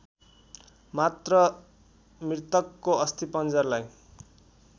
मात्र मृतकको अस्थिपञ्जरलाई